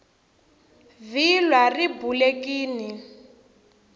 vhilwa ri bulekini